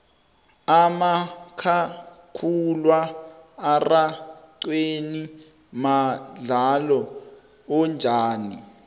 umakhakhulwa araxhweni mudlalo onjani